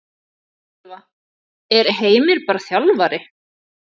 Ylfa: Er Heimir bara þjálfari?